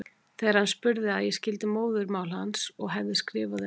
Þegar hann sannspurði að ég skildi móðurmál hans og hefði skrifað um